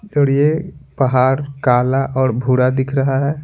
और यह पहाड़ काला और भूरा दिख रहा है।